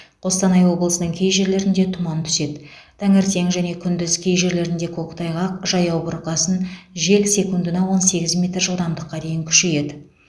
қостанай облысының кей жерлерінде тұман түседі таңертең және күндіз кей жерлерінде көктайғақ жаяу бурқасын жел секундына он сегіз метр жылдамдыққа дейін күшейеді